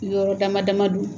Yɔrɔ dama dama don